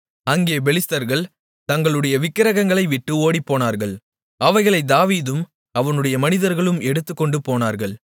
அங்கே பெலிஸ்தர்கள் தங்களுடைய விக்கிரகங்களைவிட்டு ஓடிப்போனார்கள் அவைகளைத் தாவீதும் அவனுடைய மனிதர்களும் எடுத்துக்கொண்டுபோனார்கள்